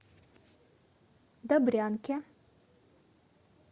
добрянке